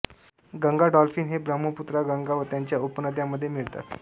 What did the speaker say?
Ganga dolphin हे ब्रह्मपुत्रा गंगा व त्यांच्या उपनद्यांमध्ये मिळतात